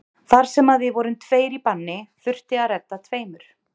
Þar sem að við vorum tveir í banni þurfti að redda tveimur.